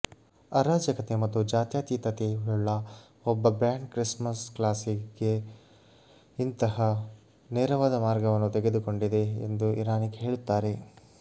ಅರಾಜಕತೆ ಮತ್ತು ಜಾತ್ಯತೀತತೆಯುಳ್ಳ ಒಬ್ಬ ಬ್ಯಾಂಡ್ ಕ್ರಿಸ್ಮಸ್ ಕ್ಲಾಸಿಕ್ಗೆ ಇಂತಹ ನೇರವಾದ ಮಾರ್ಗವನ್ನು ತೆಗೆದುಕೊಂಡಿದೆ ಎಂದು ಇರಾನಿಕ್ ಹೇಳುತ್ತಾರೆ